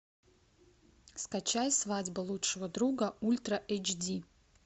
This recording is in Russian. скачай свадьба лучшего друга ультра эйч ди